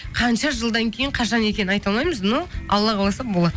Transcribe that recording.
қанша жылдан кейін қашан екенін айта алмаймыз но алла қаласа болады